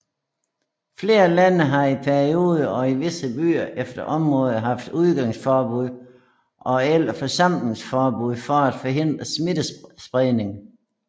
Flere lande har i perioder og i visse byer eller områder haft udgangsforbud og eller forsamlingsforbud for at forhindre smittespredning